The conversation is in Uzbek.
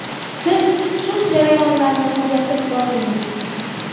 Siz shu jarayonlarni kuzatib bordingiz.